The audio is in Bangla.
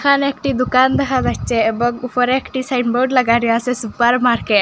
এখানে একটি দুকান দেখা যাইচ্ছে এবং উফরে একটি সাইনবোর্ড লাগা রই আসে সুপার মার্কে --